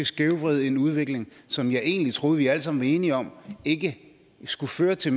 skævvride en udvikling som jeg egentlig troede vi alle sammen var enige om ikke skulle føre til